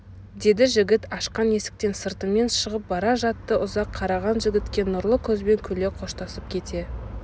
деді жігіт ашқан есіктен сыртымен шығып бара жатты ұзақ қараған жігітке нұрлы көзбен күле қоштасып кете